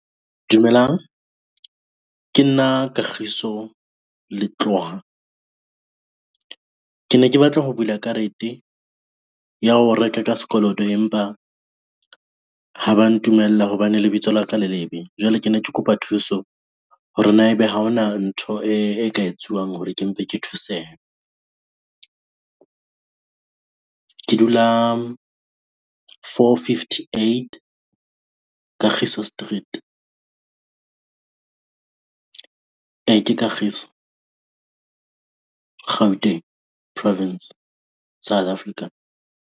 Dumelang ke nna Kagiso Letloha. Ke ne ke batla ho bula karete ya ho reka ka sekoloto empa, ha ba ntumella hobane lebitso la ka le le be, jwale ke ne ke kopa thuso hore na ebe ha hona ntho e ka etsuwang hore ke mpe ke thusehe. Ke dula fourfiftyeight Kagiso street. E, ke Kagiso Gauteng, Province South Africa.